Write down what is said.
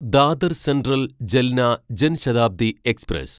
Dadar central Jalna Jan Shatabdi express